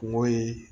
Kungo ye